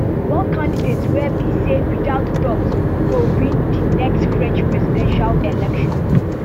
one candidate wey be say without doubt go win di next french presidential election